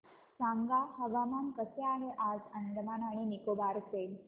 सांगा हवामान कसे आहे आज अंदमान आणि निकोबार चे